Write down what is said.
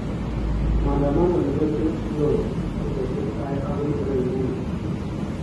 Maandamano nepo George floyd kokotestai okoi urabuni.